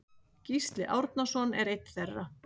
Gísli Árnason er einn þeirra.